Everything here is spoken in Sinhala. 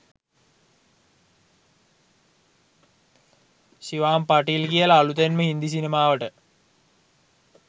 ෂිවාම් පටිල් කියල අලුතෙන්ම හින්දි සිනමාවට